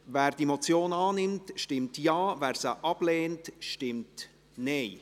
Wer die Motion annimmt, stimmt Ja, wer diese ablehnt, stimmt Nein.